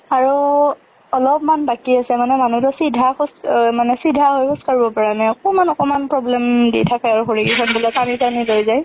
আৰু অলপমান বাকি আছে মানে, মানে মানুহতো চিধা খোজ মানে চিধা খোজ কাৰব পাৰা নাই। অকমান অকমান problem দি থাকে আৰো। ভৰিগীখন বোলে টানি টানি লৈ যাই।